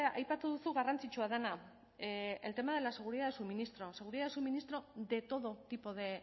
aipatu duzu garrantzitsua dena el tema de la seguridad de suministro seguridad de suministro de todo tipo de